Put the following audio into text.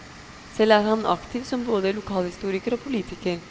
Selv er han aktiv som både lokalhistoriker og politiker.